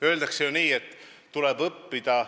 Öeldakse ju, et tuleb õppida.